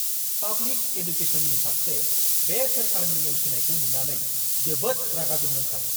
Public एडुकेसननि फारसे बे सोरखारनि नेवसिनायखौ नुनानै जोबोद रागा जोंनो ओंखारो!